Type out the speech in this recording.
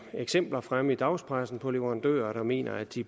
eksempler fremme i dagspressen på leverandører der mener at de